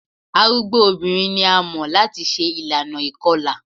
Arugbo obinrin ni a mọ lati ṣe ilana ikọla